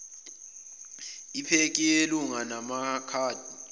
iphekhi yelunga enamakhadi